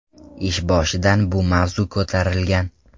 Ish boshidan bu mavzu ko‘tarilgan.